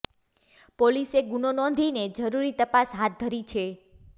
પોલીસે ગુનો નોંધીને જરૂરી તપાસ હાથ ધરી છે